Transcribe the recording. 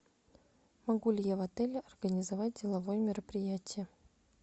могу ли я в отеле организовать деловое мероприятие